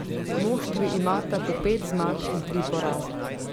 Moštvi imata po pet zmag in tri poraze.